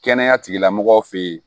Kɛnɛya tigilamɔgɔw fɛ yen